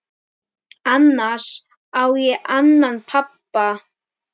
Annars á ég annan pabba.